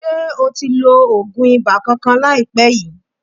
Ṣe o ti lo oògùn ibà kankan láìpé yìí?